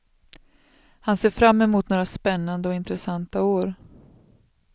Han ser fram mot några spännande och intressanta år.